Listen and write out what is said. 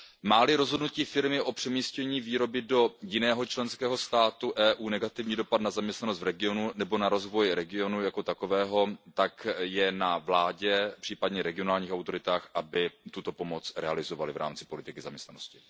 Má li rozhodnutí firmy o přemístění výroby do jiného členského státu Evropské unie negativní dopad na zaměstnanost v regionu nebo na rozvoj regionu jako takového, tak je na vládě, případně regionálních autoritách, aby tuto pomoc realizovaly v rámci politiky zaměstnanosti.